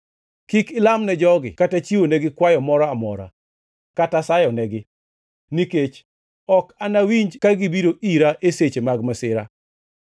“Kik ilam ne jogi kata chiwonegi kwayo moro amora kata sayonegi, nikech ok anawinji ka gibiro ira e seche mag masira.